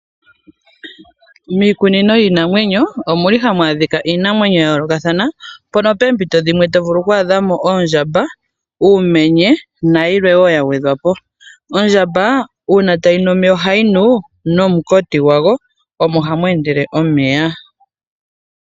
Miikunino yiinamwenyo omuli hamu adhika iinamwenyo ya yolokanathana mpono pempito dhimwe to vulu kwa adha mo oondjamba, uumenye nayilwe wo yagwedhwapo. Ondjamba una tayi nu omeya ohayi nu nomunkoti gwago omo hamu endele omeya.